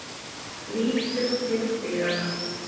Lítur til dyranna.